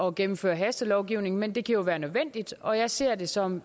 at gennemføre hastelovgivning men det kan jo være nødvendigt og jeg ser det som